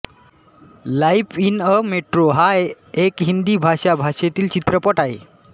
life in a metro हा एक हिंदी भाषा भाषेतील चित्रपट आहे